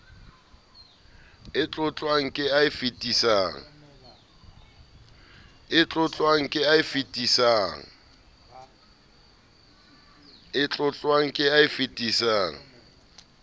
e tlotlwang ke e fetisang